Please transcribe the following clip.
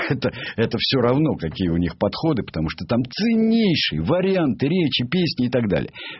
это все равно какие у них подходы потому что там ценнейшие варианты речи песни и так далее